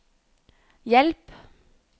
hjelp